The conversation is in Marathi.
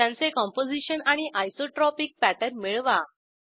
त्यांचे कंपोझिशन आणि आयसोट्रॉपिक पॅटर्न मिळवा